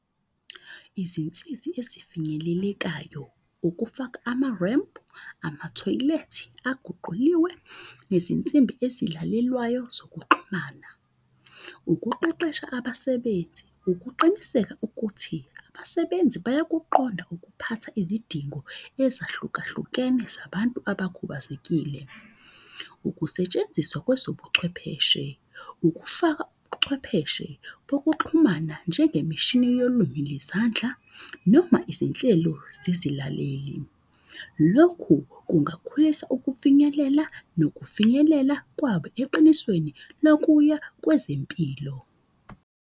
Izinsizi ezifinyelelekayo ukufaka ama-ramp, amathoyilethi aguquliwe, nezinsimbi ezilalelwayo zokuxhumana. Ukuqeqesha abasebenzi, ukuqiniseka ukuthi abasebenzi bayakuqonda ukuphatha izidingo ezahlukahlukene zabantu abakhubazekile. Ukusetshenziswa kwezobuchwepheshe, ukufaka ubuchwepheshe bokuxhumana njengemishini yolwimi ngezandla noma izinhlelo zezilaleli. Lokhu kungakhulisa ukufinyelela nokufinyelela kwabo eqinisweni nakuya kwezempilo.